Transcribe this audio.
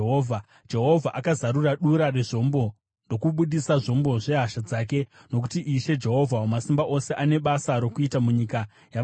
Jehovha akazarura dura rezvombo ndokubudisa zvombo zvehasha dzake, nokuti Ishe Jehovha Wamasimba Ose ane basa rokuita munyika yavaBhabhironi.